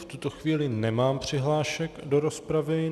V tuto chvíli nemám přihlášek do rozpravy.